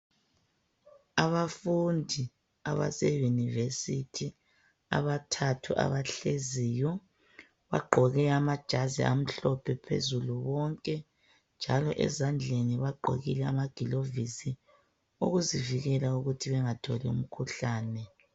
Abafundi abase University abathathu abahleziyo bagqoke amajazi amhlophe phezulu bonke njalo ezandleni bagqokile amagilovisi ukuzivikela ukuthi bengatholi imikhuhlane.